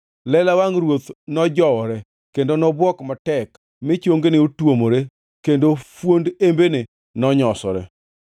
Lela wangʼ ruoth nojowore, kendo nobwok matek, mi chongene notuomore, kendo fuond embene nonyosore.